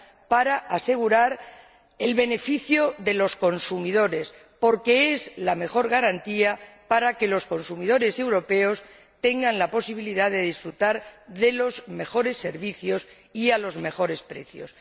para asegurar el beneficio de los consumidores, porque es la mejor garantía para que los consumidores europeos tengan la posibilidad de disfrutar de los mejores servicios y a los mejores precios.